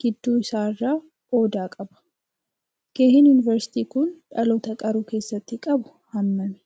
gidduu isaa irraa odaa qaba. Gaheen yunivarsiitiin kun dhaloota qaruu keessatti qabu hammami?